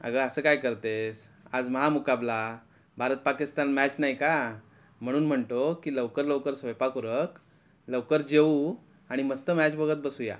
अग अस काय करतेस आज महा मुकाबला भारत पाकिस्तान मॅच नाही का म्हणून म्हणतो कि लवकर लवकर स्वयंपाक उरक लवकर जेऊ आणि मस्त मॅच बघत बसूया.